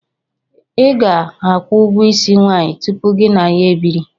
ị ga-akwụ ụgwọ isi nwanyị tụpụ gị na ya ebiri